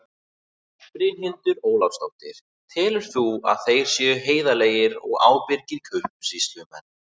Brynhildur Ólafsdóttir: Telur þú að þeir séu heiðarlegir og ábyrgir kaupsýslumenn?